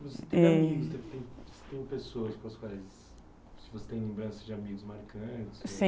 Tem tem pessoas dos quais você tem lembranças de amigos marcantes? Sim